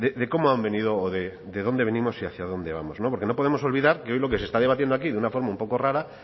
de cómo han venido de dónde venimos y hacia dónde vamos porque no podemos olvidar que hoy lo que se está debatiendo aquí de una forma un poco rara